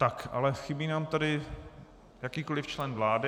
Tak ale chybí nám tady jakýkoliv člen vlády.